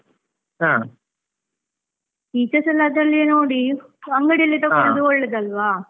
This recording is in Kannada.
ಹಾ, features ಎಲ್ಲ ಅಲ್ಲಿ ನೋಡಿ, ಅಂಗಡಿಲಿ ತಗೊಳೋದು ಒಳ್ಳೇದಲ್ವಾ.